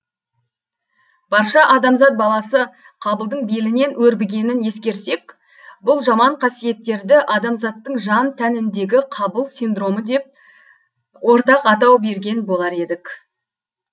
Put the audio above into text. барша адамзат баласы қабылдың белінен өрбігенін ескерсек бұл жаман қасиеттерді адамзаттың жан тәніндегі қабыл синдромы деп ортақ атау берген болар едік